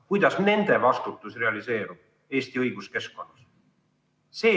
Kuidas nende vastutus realiseerub Eesti õiguskeskkonnas?